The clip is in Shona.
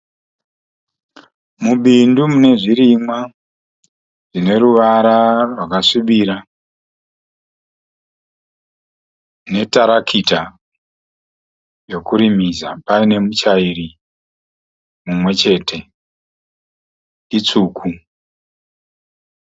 Mubindu mune zvirimwa zvine ruvara zvakasvibira netarakita yekurimisa paine mutyairi mumwe chete itsvuku.